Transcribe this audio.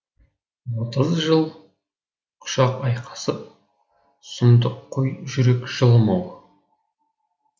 отыз жыл құшақ айқасып сұмдық қой жүрек жылымау